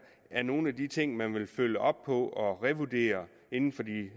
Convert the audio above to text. er nogle af de ting man vil følge op på og revurdere inden for de